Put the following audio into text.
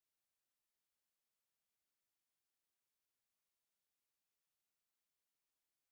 Izdelek, katerega kakovost preverjajo, segrevajo s halogenimi svetilkami.